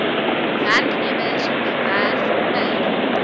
werknemers gewerf per